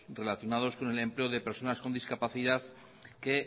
relacionados con el empleo de personas con discapacidad que